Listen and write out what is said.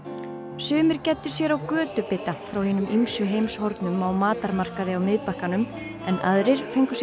sumir gæddu sér á frá hinum ýmsu heimshornum á á Miðbakkanum en aðrir fengu sér